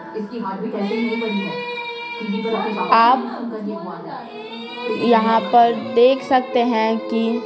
आप यहाँ पर देख सकते हैं कि--